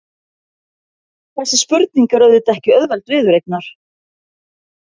Þessi spurning er auðvitað ekki auðveld viðureignar.